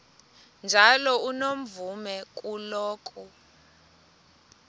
njalo unomvume kuloko